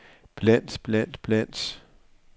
blandt blandt blandt